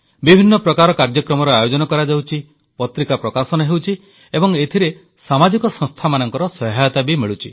ବିଭିନ୍ନ ପ୍ରକାର କାର୍ଯ୍ୟକ୍ରମର ଆୟୋଜନ କରାଯାଉଛି ପତ୍ରିକା ପ୍ରକାଶନ ହେଉଛି ଏବଂ ଏଥିରେ ସାମାଜିକ ସଂସ୍ଥାମାନଙ୍କର ସହାୟତା ବି ମିଳୁଛି